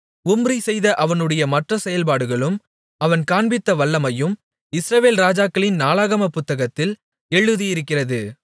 உம்ரி செய்த அவனுடைய மற்ற செயல்பாடுகளும் அவன் காண்பித்த வல்லமையும் இஸ்ரவேல் ராஜாக்களின் நாளாகமப் புத்தகத்தில் எழுதியிருக்கிறது